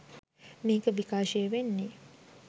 මේක විකාශය වෙන්නේ.